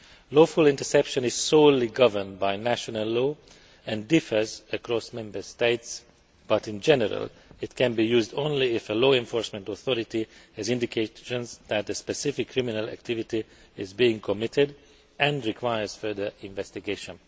Lawful interception is solely governed by national law and differs across Member States, but in general, it can be used only if a law enforcement authority has indications that a specific criminal activity is being committed and requires further investigation.